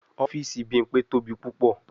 Ọfiisi Bimpe tobi pupọ